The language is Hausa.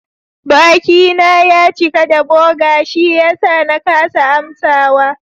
Bakina ya cika da burger shiyasa na kasa amsawa.